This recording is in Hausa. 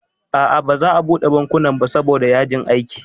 A'a baza a buɗe bankuna ba saboda yajin aiki